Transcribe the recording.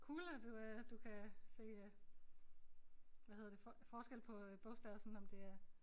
Cool at du øh du kan se øh hvad hedder det forskel på øh bogstaver sådan om det er